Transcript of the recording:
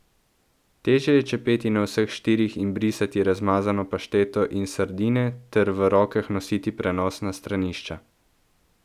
Težje je čepeti na vseh štirih in brisati razmazano pašteto in sardine ter v rokah nositi prenosna stranišča.